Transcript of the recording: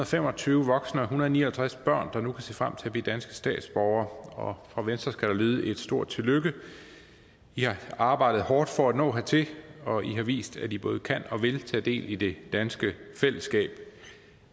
fem og tyve voksne og en hundrede og ni og halvtreds børn der nu kan se frem til at blive danske statsborgere fra venstre skal der lyde et stort tillykke i har arbejdet hårdt for at nå hertil og i har vist at i både kan og vil tage del i det danske fællesskab